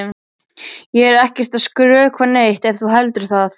Ég er ekkert að skrökva neitt ef þú heldur það.